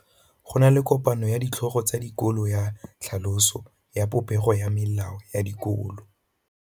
Go na le kopanô ya ditlhogo tsa dikolo ya tlhaloso ya popêgô ya melao ya dikolo.